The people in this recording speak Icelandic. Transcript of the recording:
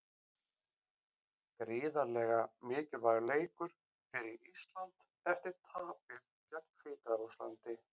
Gríðarlega mikilvægur leikur fyrir Ísland eftir tapið gegn Hvíta-Rússlandi.